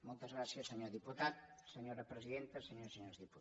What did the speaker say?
moltes gràcies senyor diputat senyora presidenta i senyores i senyors diputats